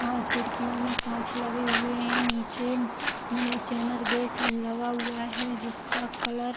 पांच खिड़कियों में कांच लगें हुए हैं। नीचे में चैनल गेट लगा हुआ है जिसका कलर --